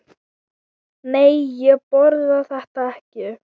Nei, ég borða þetta ekki.